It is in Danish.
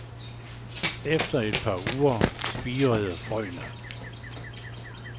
Efter et par uger spirede frøene.